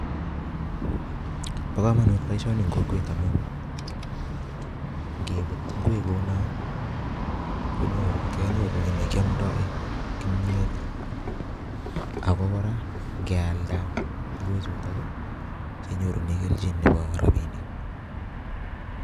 Bo komonut boisoni eng' kokwet amuu ngebut ngwek kuonu, um kenyoru kiy ne kiamdoi kimyet, ago kora ngealda ngwek chuton, kenyorune kelchin nebo rabinik